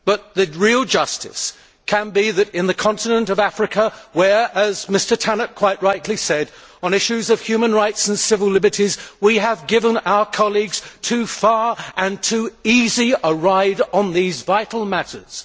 The real issue is that in the continent of Africa, as Mr Tannock quite rightly said, on issues of human rights and civil liberties, we have given our colleagues too far and too easy a ride on these vital matters.